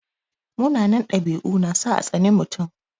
Munanan ɗabi'u na sa a tsani mutum.